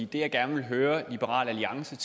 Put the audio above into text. det jeg gerne vil høre liberal alliance